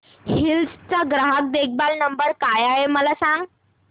hills चा ग्राहक देखभाल नंबर काय आहे मला सांग